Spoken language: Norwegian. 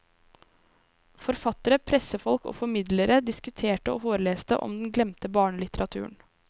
Forfattere, pressefolk og formidlere diskuterte og foreleste om den glemte barnelitteraturen.